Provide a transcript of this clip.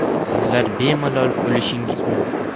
Sizlar bemalol olishingiz mumkin.